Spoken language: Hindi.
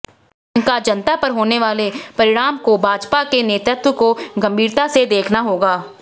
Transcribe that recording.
इसका जनतापर होनेवाले परिणामको भाजपाके नेतृत्वको गंभीरतासे देखना होगा